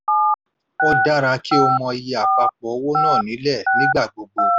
ó dára kí o mọ iye àpapọ̀ owónàá nílẹ̀ nígbà gbogbo.